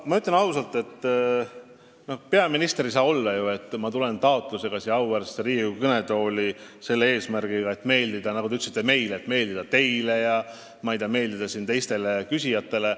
Ma ütlen ausalt, et peaminister ei saa ju olla selline inimene, kes tuleb siia auväärsesse Riigikogu kõnetooli eesmärgiga meeldida, nagu te ütlesite, teile ja teistele küsijatele.